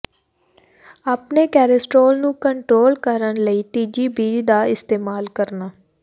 ਆਪਣੇ ਕੋਲੇਸਟ੍ਰੋਲ ਨੂੰ ਕੰਟਰੋਲ ਕਰਨ ਲਈ ਤਿੱਜੀ ਬੀਜ ਦਾ ਇਸਤੇਮਾਲ ਕਰਨਾ